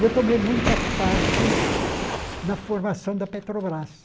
E eu tomei muita parte na formação da Petrobras.